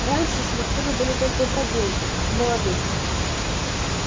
раньше смартфоны были только у продвинутых у молодых